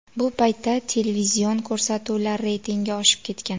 Bu paytda televizion ko‘rsatuvlar reytingi oshib ketgan.